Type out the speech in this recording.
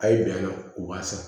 A' ye bɛn na u b'a san